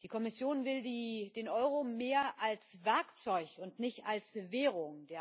Die Kommission will den Euro mehr als Werkzeug und nicht als Währung.